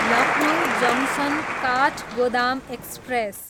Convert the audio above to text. Lucknow junction, Kathgodam express